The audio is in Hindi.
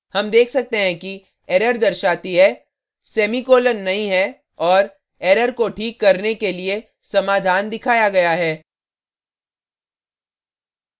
हम देख सकते हैं कि error दर्शाती हैः semiकॉलन नहीं है और error को ठीक करने के लिए समाधान दिखाया गया है